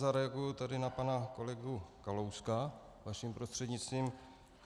Zareaguji tady na pana kolegu Kalouska vaším prostřednictvím.